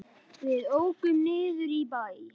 Við ókum niður í bæ.